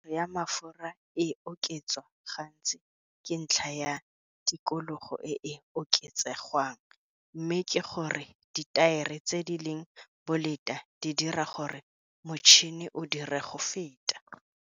Tiriso ya mafura e oketswa gantsi ke ntlha ya tikologo e e oketsegwang mme ke go re dithaere tse di leng boleta di dira gore motšhene o dire go feta.